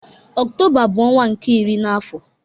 Ọktoba bu ọnwa nke iri na afo